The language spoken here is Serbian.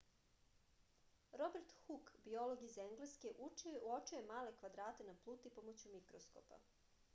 robert huk biolog iz engleske uočio je male kvadrate na pluti pomoću mikroskopa